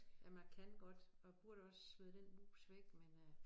Jamen jeg kan godt og jeg burde også smide den mus væk men øh